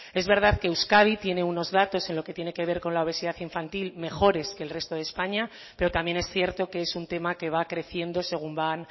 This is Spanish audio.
es verdad que euskadi tiene unos datos en lo que tiene que ver con la obesidad infantil mejores que el resto de españa pero también es cierto que es un tema que va creciendo según van